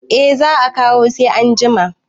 eh za a kawo sai an jima